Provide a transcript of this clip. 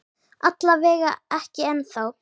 Alla vega ekki ennþá.